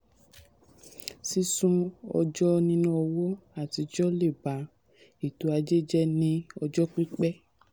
sísun ọjọ́ níná owó um àtijọ́ le ba um ètò ajé jẹ ní ti um ọjọ́ pípẹ́.